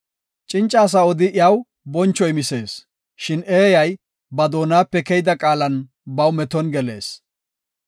Cinca asa odi iyaw boncho imisees; shin eeyay ba doonape keyida qaalan baw meton gelees.